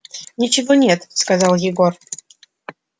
ничего нет сказал егор